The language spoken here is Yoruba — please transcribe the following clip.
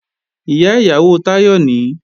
Ìyá ìyàwó Táyọ̀ nìí